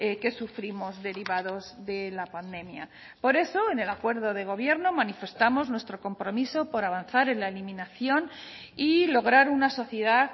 que sufrimos derivados de la pandemia por eso en el acuerdo de gobierno manifestamos nuestro compromiso por avanzar en la eliminación y lograr una sociedad